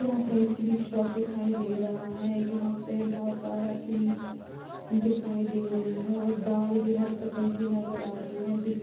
यहाँ पे एक स्वीट शॉप दिखाई दे रहा है जहां पे बहोत सारा स्वीट्स दिखाई दे रहे हैं और दाल भी हर किस्म कि नजर आ रही है बिस--